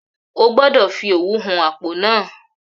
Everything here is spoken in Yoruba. Ogbọ́dọ̀ fi òwú hun apó náà